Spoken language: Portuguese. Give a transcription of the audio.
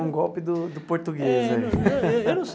Foi um golpe do do português. É eu eu não sei.